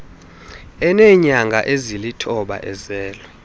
eneenyanga ezilithoba ezelwe